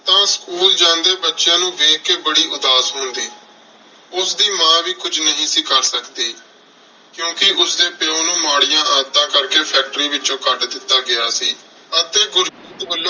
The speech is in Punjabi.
ਤਾਂ school ਜਾਂਦੇ ਬੱਚਿਆਂ ਨੂੰ ਦੇਖ ਕੇ ਬੜੀ ਉਦਾਸ ਹੁੰਦੀ। ਉਸਦੀ ਮਾਂ ਵੀ ਕੁੱਝ ਨਹੀਂ ਸੀ ਕਰ ਸਕਦੀ। ਕਿਉਂਕਿ ਉਸਦੇ ਪਿਉ ਨੂੰ ਮਾੜੀਆਂ ਆਦਤਾਂ ਕਰਕੇ factory ਵਿੱਚੋਂ ਕੱਢ ਦਿੱਤਾ ਗਿਆ ਸੀ ਅਤੇ ਗੁਰਜੀਤ ਵੱਲੋਂ